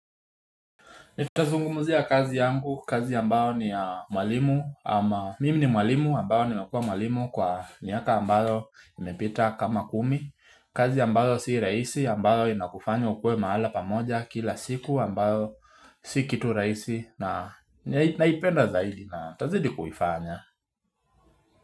Nitazungumuzia kazi yangu kazi ambayo ni mwalimu ama mimi ni mwalimu ambayo nimekuwa mwalimu kwa miaka ambayo imepita kama kumi kazi ambayo si rahisi ambayo inakufanya ukuwe mahala pamoja kila siku ambayo si kitu rahisi na naipenda zaidi na nitazidi kuifanya.